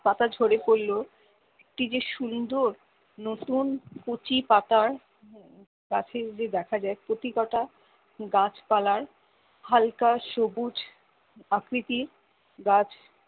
পাতা ঝরে পড়লেও কি যে সুন্দর নতুন কচি পাতা গাছে যে দেখা যায় প্রতি কটা গাছ পালার হালকা সবুজ আকৃতির গাছ